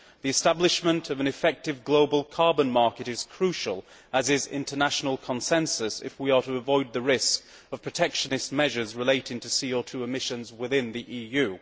The establishment of an effective global carbon market is crucial, as is international consensus if we are to avoid the risk of protectionist measures relating to CO 2 emissions within the EU.